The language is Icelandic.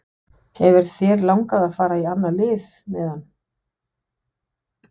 Hefur þér langað að fara í annað lið meðan?